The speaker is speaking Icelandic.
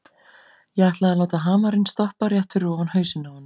Ég ætlaði að láta hamarinn stoppa rétt fyrir ofan hausinn á honum.